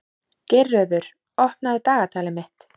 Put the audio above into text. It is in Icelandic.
Geirröður, opnaðu dagatalið mitt.